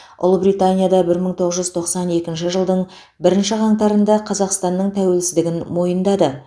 ұлыбритания да бір мың тоғыз жүз тоқсан екінші жылдың бірінші қаңтарында қазақстанның тәуелсіздігін мойындады